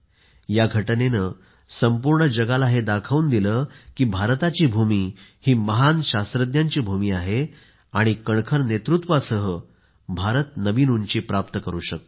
य घटनेने संपूर्ण जगाला हे दाखवून दिले की भारताची भूमी ही महान शास्त्रज्ञांची भूमी आहे आणि कणखर नेतृत्वासह भारत नवीन उंची प्राप्त करू शकतो